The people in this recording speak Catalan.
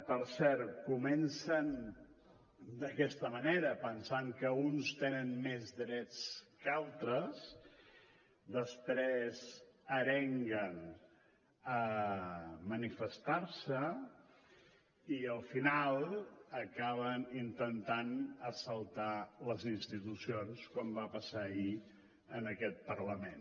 per cert comencen d’aquesta manera pensant que uns tenen més drets que altres després arenguen a manifestar se i al final acaben intentant assaltar les institucions com va passar ahir en aquest parlament